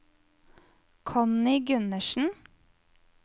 Connie Gundersen